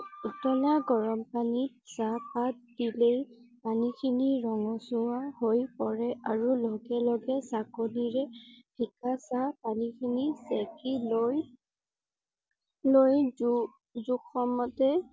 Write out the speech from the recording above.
উটলা গৰম পানী চাহ পাত দিলেই পানী খিনি ৰঙচুৱা হৈ পৰে আৰু লগে লগে চেকণিৰে চেকা পানী খিনি চেকি লৈ লৈ যোজোখৰ মতে